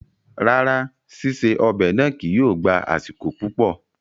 Rárá, ṣiṣe ọ́bẹ̀ náá kìí yóó gba asiko pupọ